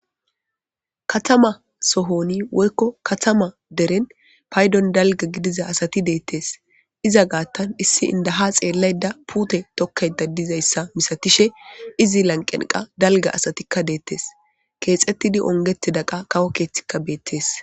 Katama sohoni woykko katama deren paydon dalga gidiza asati deettes iza gaattan issi indaha xeellay da puute tokkay dadizayssa misatishe izi lanqenqa dalga asatikka deettes keexettidi ongeti daqa kawo keeththikka beettes.